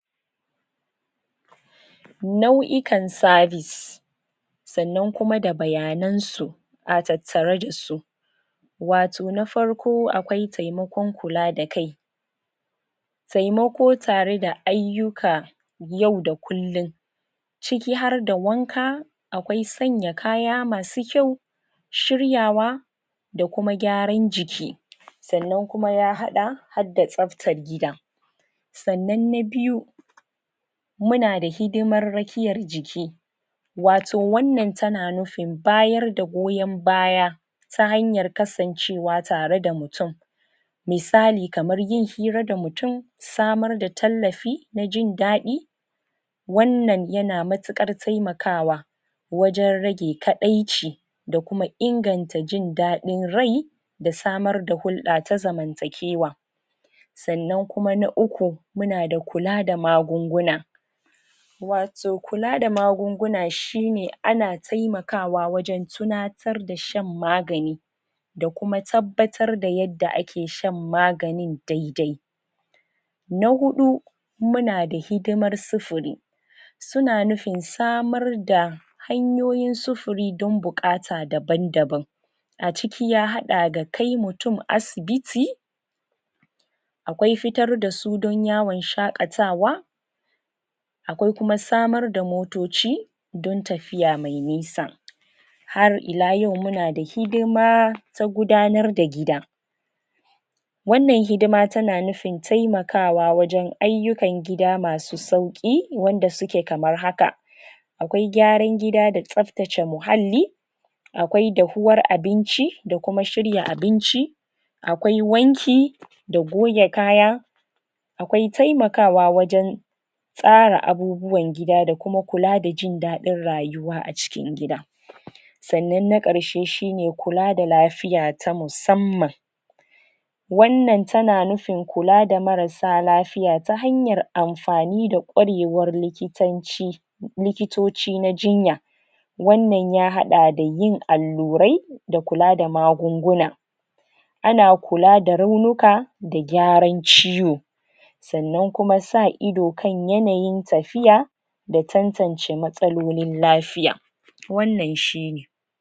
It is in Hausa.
nau'ikan service san nan kuma da bayanan su a tattare da su wato na farko, akwai taimakon kula da kai taimako tare da aiyukan yau da kullun ciki har da wanka akwai sanya kaya masu kyau shiryawa da kuma gyaran jiki san nan kuma ya hada hadda tsaftan gida san nan na biyu muna da hidimar rakiyar jiki wato wan nan, tana nufin, bayar da goyon baya ta hanyan kasancewa tare da mutun misali kaman yin hira da mutun samar da tallafi na jin dadi wan nan yana matukan taimakawa wajen rage kadaici da kuma inganta jin dadin rai da samar da hurda ta zamantakewa san nan kuma na uku, muna da kula da magunguna wato kula da magunguna shine a na taimkawa wajen tunatar da shan magani da kuma tabbatar da yadda ake shan maganin daidai na hudu muna da hidiman sifiri suna nufin samar da hanyoyin sifiri dan bukata da ban daban a ciki ya dada da kai mutun asibiti akwai futar da su dan yawon shakatawa akwai kuma samar da motoci don tafiya mai nisa har ila yau muna da hidima na gudanar da gida wan nan hidima tana nufin taimakwa wajen aiyukan gida masu sauki wanda suke kaman haka akwai gyaran gida da tsaftace muhalli akwai dafuwan abinci da kuma shirya abinci akwai wanki da goge kaya akwai taimakawa wajen tsara abubuwan gida da kuma kula da jin dadin rayuwa a cikin gidan san nan na karshe shine kula da lafiya ta musamman wan nan tana nufin kula, da marassa lafiya ta hanyan, anfani da kwarewan likitanci likitoci na jinya wan nan ya hada da yin allurai da kula da magunguna ana kula da raunika da gyaran ciwo san nan kuma sa ido kan yanayin tafiya da tantance matsalolin lafiya wan nan shine